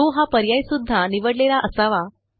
show हा पर्याय सुध्दा निवडलेला असावा